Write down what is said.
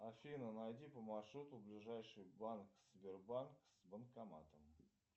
афина найди по маршруту ближайший банк сбербанк с банкоматом